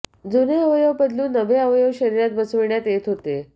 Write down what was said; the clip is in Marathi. जुने अवयव बदलून नवे अवयव शरीरात बसविण्यात येत होते